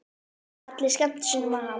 Allir skemmtu sér nema hann.